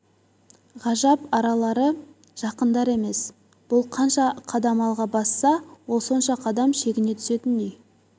ғажап аралары жақындар емес бұл қанша қадам алға басса ол сонша қадам шегіне түсетіндей